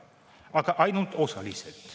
Aga ainult osaliselt.